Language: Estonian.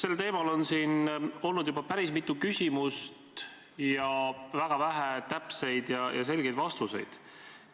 Sellel teemal on siin olnud juba päris mitu küsimust, aga väga vähe täpseid ja selgeid vastuseid.